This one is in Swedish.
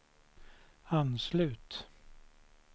anslut